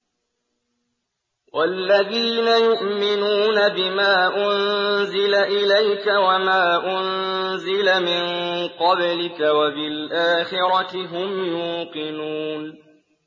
وَالَّذِينَ يُؤْمِنُونَ بِمَا أُنزِلَ إِلَيْكَ وَمَا أُنزِلَ مِن قَبْلِكَ وَبِالْآخِرَةِ هُمْ يُوقِنُونَ